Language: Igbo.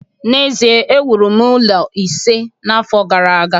n'ezie, m wuru ụlọ ise n'afọ gara aga